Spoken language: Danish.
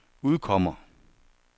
udkommer